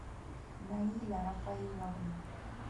наиля рафаиловна